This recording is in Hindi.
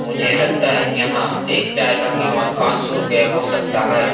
मुझे लगता है यहाँ एक चीय का कीमत पाच सौ रुपया हो सकता है।